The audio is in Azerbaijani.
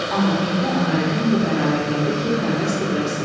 Amma indi Ağarəhim bu qərara gəldi ki, həvəsdir, bəsdir.